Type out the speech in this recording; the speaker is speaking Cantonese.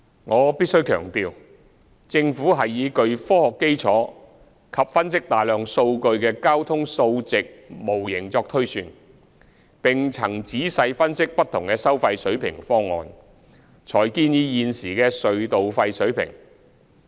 我必須強調，政府是以具科學基礎及分析大量數據的交通數值模型作推算，並曾仔細分析不同的收費水平方案，才建議現時的隧道費水平。